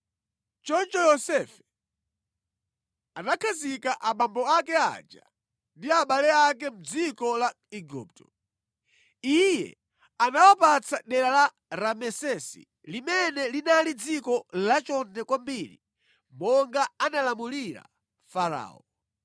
Choncho Yosefe anakhazika abambo ake aja ndi abale ake mʼdziko la Igupto. Iye anawapatsa dera la Ramesesi limene linali dziko lachonde kwambiri monga analamulira Farao.